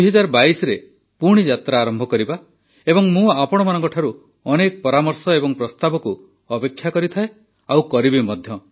୨୦୨୨ରେ ପୁଣି ଯାତ୍ରା ଆରମ୍ଭ କରିବା ଏବଂ ମୁଁ ଆପଣମାନଙ୍କଠାରୁ ଅନେକ ପରାମର୍ଶ ଏବଂ ପ୍ରସ୍ତାବକୁ ଅପେକ୍ଷା କରିଥାଏ ଆଉ କରିବି ମଧ୍ୟ